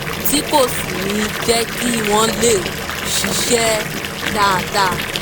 tí kò sì ní jẹ́ kí wọ́n lè ṣiṣẹ́ dáadáa